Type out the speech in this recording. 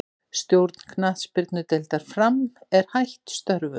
Stjórn knattspyrnudeildar Fram er hætt störfum.